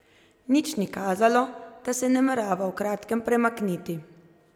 Nič ni kazalo, da se namerava v kratkem premakniti.